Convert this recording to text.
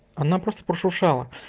она просто прошуршала